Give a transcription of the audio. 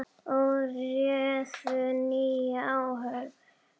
og réðu nýja áhöfn.